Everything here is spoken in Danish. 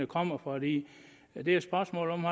kommer for det er et spørgsmål om